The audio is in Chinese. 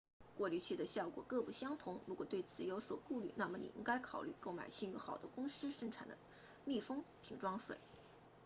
过滤器的效果各不相同如果对此有所顾虑那么您应该考虑购买信誉好的公司生产的密封瓶装水